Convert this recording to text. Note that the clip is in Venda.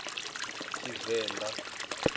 tshivenḓa